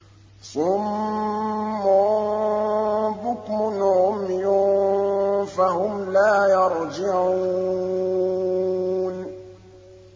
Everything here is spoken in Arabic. صُمٌّ بُكْمٌ عُمْيٌ فَهُمْ لَا يَرْجِعُونَ